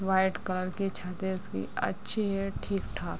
White colour के छत है उसकी अच्छी है ठीक-ठाक।